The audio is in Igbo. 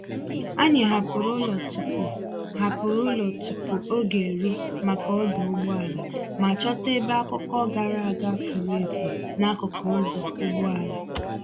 Anyị hapụrụ ụlọ tupu hapụrụ ụlọ tupu oge eru maka ọdụ ụgbọelu, ma chọta ebe akụkọ gara aga furu efu n’akụkụ ụzọ ụgbọala.